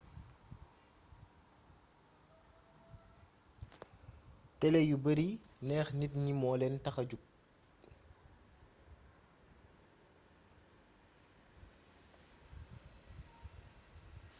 télé yu bari neex nit yi moolén taxa jóg